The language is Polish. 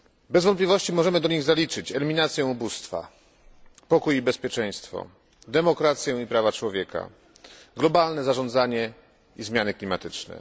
Bez wątpliwości możemy do nich zaliczyć eliminację ubóstwa, pokój i bezpieczeństwo, demokrację i prawa człowieka, globalne zarządzanie i zmiany klimatyczne.